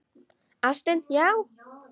Ástin, já!